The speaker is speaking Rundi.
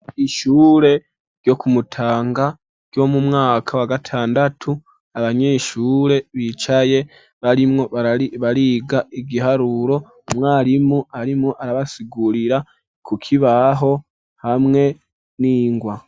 Ishure ryo kumutanga ryo mu mwaka wa gatandatu abanyeshure bicaye barimwo bariga igiharuro mwarimu arimwo arabasigurira ku kibaho hamwe n'ingwa.